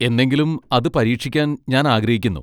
എന്നെങ്കിലും അത് പരീക്ഷിക്കാൻ ഞാൻ ആഗ്രഹിക്കുന്നു.